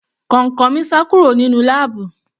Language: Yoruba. Kọ̀ǹkọ̀ mi sá kúrò nínú láàbù.